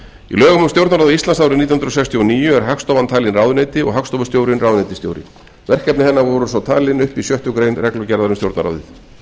lögum um stjórnarráð íslands árið nítján hundruð sextíu og níu er hagstofan talin ráðuneyti og hagstofustjórinn ráðuneytisstjóri verkefni hennar voru þó talin upp í sjöttu grein reglugerðar um stjórnarráðið